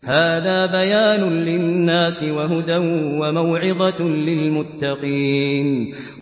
هَٰذَا بَيَانٌ لِّلنَّاسِ وَهُدًى وَمَوْعِظَةٌ لِّلْمُتَّقِينَ